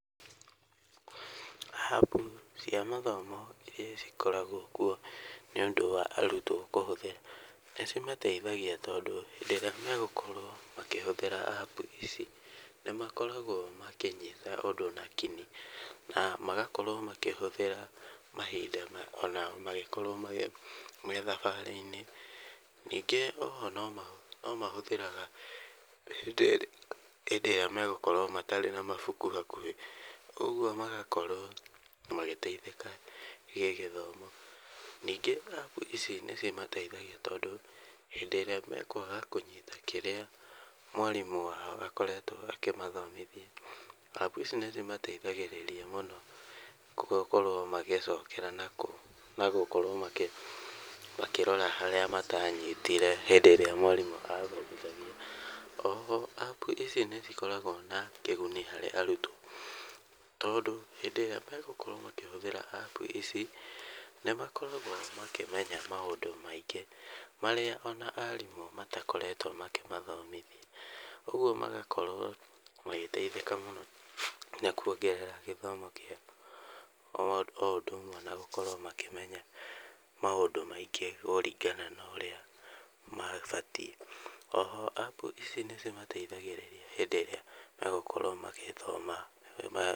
App cia mathomo iria cikoragwo kuo nĩũndũ wa arutwo kũhũthĩra, nĩ cimateithagia tondũ, hĩndĩ ĩrĩa megũkorwo makĩhũthĩra App ici, nĩ nakoragwo makĩnyita ũndũ nakĩng'i, na magakorwo makĩhũthĩra mahinda ona mangĩkorwo methabarĩ-inĩ. Nĩngĩ oho nĩmahũthagĩra hĩndĩ ĩrĩa megũkorwo matarĩ na mabuku hakuhĩ. Ũguo magakorwo magĩyeithĩka gĩgĩthomo. Nĩngĩ App ici nĩ cimateithagia tondũ hĩndĩ ĩrĩa mekwaga kũnyita kĩrĩa mwarimũ wao akoretwo akĩmathomithia, App ici nĩ cimayeithagĩrĩria mũno gũkorwo makĩnyita na gũkorwo makĩrora harĩa matanyitire hindĩ ĩrĩa mwarimũ athomithagia. Oho App ici nĩ cikoragwo na kĩguni harĩa arutwo, tondũ hindĩ ĩrĩa megũkorwo magĩtũmĩra App ici, nĩmakoragwo makĩmenya maũndũ maingĩ, marĩa ona arimũ matakoretwo makĩmathomithia. Ũguo magakorwo magĩteithĩka mũno na kuongerera gĩthomo kĩao, o ũndũ ũmwe na gũkorwo makĩmenya maũndũ maingĩ kũringana na ũrĩa mabatiĩ. Oho App ici nĩ cimayeithagĩrĩria hĩndĩ ĩrĩa megũkorwo magĩthoma.